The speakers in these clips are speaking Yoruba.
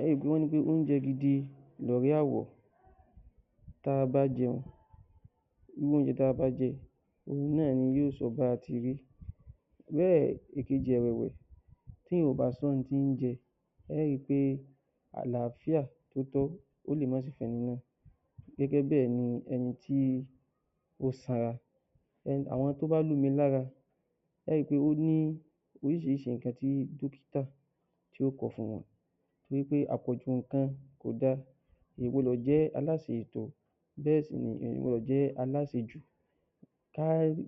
Ẹ ó ríi pé wọ́n ní pé oúnjẹ gidi lọ̀rẹ́ àwọ̀ tí a bá jẹun gbogbo nǹkan tí a bá jẹ náà ni yóò sọ bí a ti rí bẹ́ẹ̀ ìkejì ẹ̀wẹ̀ tí ènìyàn ò bá tún jẹun oúnjẹ ẹ ó rí í pé àlàáfíà tó tọ́ ó lè má sí fún irú ẹni náà gẹ́gẹ́ bẹ́ẹ̀ ni ẹni tí ó sanra, bẹ́ẹ̀ ni àwọn tó bá lómi lára ẹ ó ríi pé ó ní àwọn nǹkan tí ó tọ́ tó kọ̀ fún wọn torí pé àpọ̀jù nǹkan kò dára ènìyàn kò gbọdọ̀ jẹ́ aláṣẹjù, ká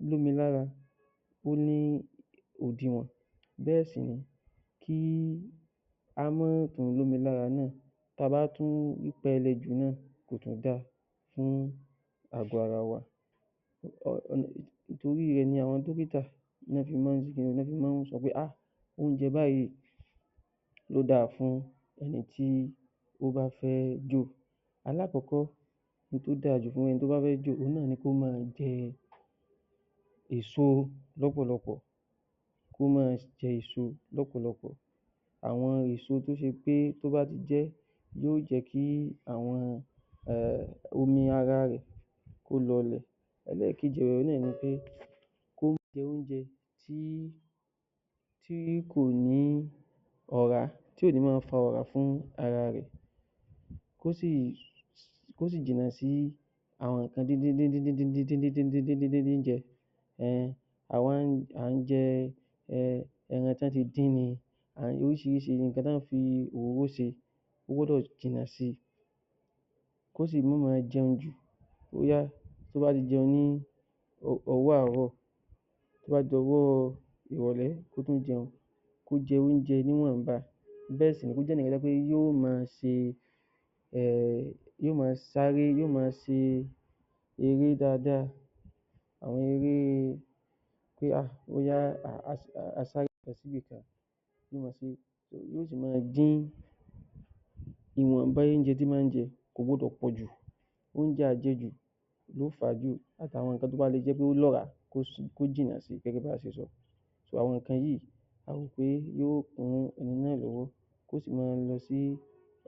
lómi lára ó ní òdiwòn bẹ́ẹ̀ sì ni kí á má tún lómi lára náà tí a bá tún pẹlẹbẹ jù náà kò tún dáa fún ààgọ́ ara wa torí rẹ ni àwọn dókítà fi máa ń sọ pé oúnjẹ báyìí ló dára fún ẹni tó bá fẹ́ jò, alákọ̀ọ́kọ́ ohun tí ó dára jù fún ẹni tí ó bá fẹ́ jò náà ni kí ó máa jẹ èso lọ́pọ̀lọpọ̀, àwọn èso tó jẹ́ pé tó bá ti jẹ́ yóò jẹ́ kí omi ara rẹ kó lọlè. Ẹléèkejì náà ni pé kó jẹ oúnjẹ tí kò ní ọ̀rá tí kò ní máa fa ọ̀rá sí ara rẹ, kí ó sì jìnnà sí àwọn nǹkan bíi dídíndídín jẹ, àwọn à ń jẹ ẹran tí wọ́n ti dín ni, orísìírísìí nǹkan tí a máa ń fi òróró ṣe ó gbọdọ̀ sọ́ra fún un kó sì má ma jẹun jù tó bá ti jẹun ní ọwọ́ àárọ̀ tó bá ti di ọwọ́ ìrọ̀lé kó tún jẹun kó jẹun ní ìwọ̀nba, bẹ́ẹ̀ni yóò máa sáré yóò máa ṣe eré dáadáa, ìwọ̀nba oúnjẹ tí ó ń jẹ kò gbọdọ̀ pọ̀jù oúnjẹ àjẹjù àti àwọn nǹkan tí ó lọ́ràá kó jìnnà síí àwọn nǹkan yìí yóò tún ran ẹni náà lọ́wọ́, yóò sí máa lọ sí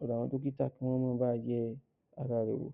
ọ̀dọ dọ́kítà kí wọ́n bá a yẹ ara rẹ wò